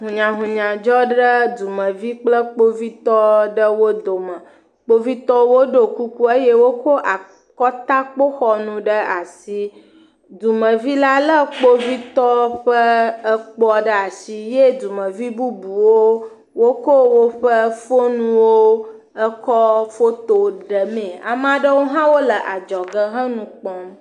Hunyahunya dzɔ ɖe dumevi kple kpovitɔ aɖewo dome. Kpovitɔwo ɖɔ kuku eye wokɔ akɔtakpoxɔnu ɖe asi. Dɔmevi la le kpovitɔ ƒe ekpoa ɖe asi ye dumevi bubuwo wokɔ woƒe foniwo ekɔ foto ɖemee. Ame aɖewo hã wole adzɔge he nu kpɔm.